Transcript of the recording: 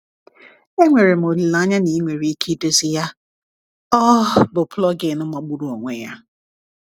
Enwere m olileanya na ị nwere ike idozi ya, ọ bụ plugin magburu onwe ya!